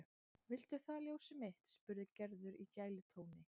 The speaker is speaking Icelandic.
Viltu það ljósið mitt? spurði Gerður í gælutóni.